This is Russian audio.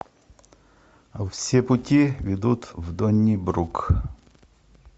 все пути ведут в доннибрук